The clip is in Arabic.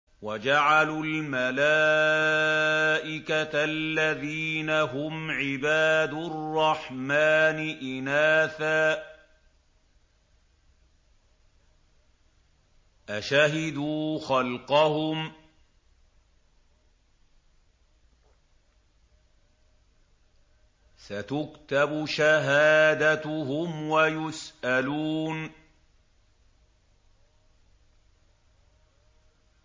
وَجَعَلُوا الْمَلَائِكَةَ الَّذِينَ هُمْ عِبَادُ الرَّحْمَٰنِ إِنَاثًا ۚ أَشَهِدُوا خَلْقَهُمْ ۚ سَتُكْتَبُ شَهَادَتُهُمْ وَيُسْأَلُونَ